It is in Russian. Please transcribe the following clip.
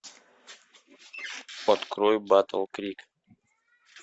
открой батл крик